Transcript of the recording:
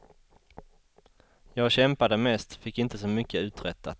Jag kämpade mest, fick inte så mycket uträttat.